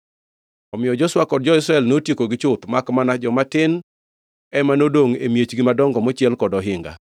Omiyo Joshua kod jo-Israel notiekogi chuth makmana joma tin ema nodongʼ e miechgi madongo mochiel kod ohinga.